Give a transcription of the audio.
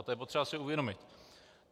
A to je potřeba si uvědomit.